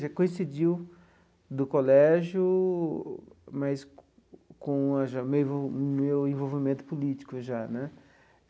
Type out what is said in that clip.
Já coincidiu do colégio, mas com já meu envol meu envolvimento político já né.